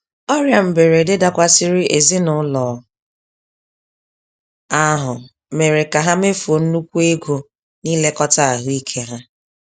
Ọrịa mberede dakwasịrị ezinaụlọ ahụ mèrè ka ha mefuo nnukwu ego nilekota ahụike ha.